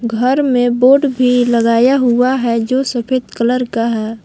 घर में बोर्ड भी लगाया हुआ है जो सफेद कलर का है।